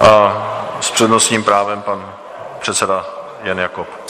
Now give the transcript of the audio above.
A s přednostním právem pan předseda Jan Jakob.